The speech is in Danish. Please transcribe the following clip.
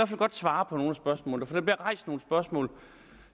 fald godt svare på nogle af spørgsmålene bliver rejst nogle spørgsmål